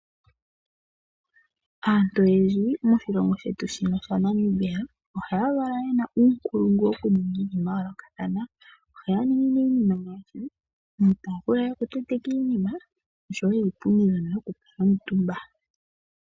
Aantu oyendji moshilongo shetu shaNamibia ohaya valwa ye na uunkulungu wokuninga iinima ya yoolokathana. Ohaya ningi nduno iinima ngaashi iitaafula yokutenteka iinima noshowo iipundi mbyono yokukuutumba.